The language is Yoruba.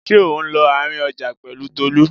Ṣé ò ń lọ àárín ọjà pẹ̀lú Tolú?